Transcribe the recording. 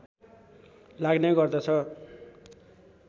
लाग्ने गर्दछ